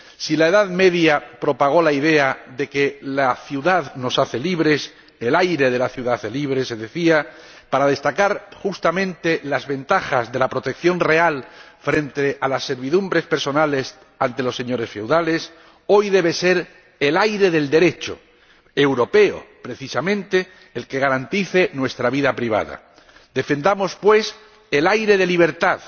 Si la Edad Media propagó la idea de que la ciudad nos hace libres ―el aire de la ciudad hace libres, se decía―, para destacar justamente las ventajas de la protección real frente a las servidumbres personales ante los señores feudales, hoy debe ser el aire del Derecho europeo precisamente el que garantice nuestra vida privada. Defendamos, pues, el aire de libertad